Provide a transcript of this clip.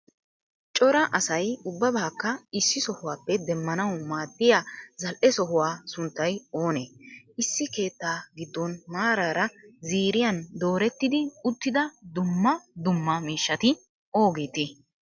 cora asaay ubbabakka issi sohuwappe demmaannawu maadiya zal7ee sohuwa sunttay oone? issi keettaa giddon maraara ziiriyan doretidi uttida duummaa duummaa miishshati oogeete?